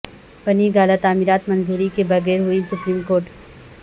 بنی گالہ تعمیرات منظوری کے بغیر ہوئیں سپریم کورٹ